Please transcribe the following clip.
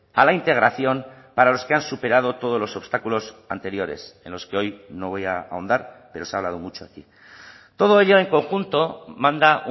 a la integración para los que han superado todos los obstáculos anteriores en los que hoy no voy a ahondar pero se ha hablado mucho aquí todo ello en conjunto manda